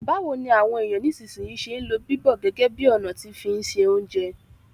Báwoni àwon èyàn nisínsìnyi se n lo bíbọ̀ gẹ́gẹ́ bi ọ̀nà ti fi n se ounjẹ